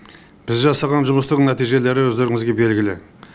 біз жасаған жұмыстың нәтижелері өздеріңізге белгілі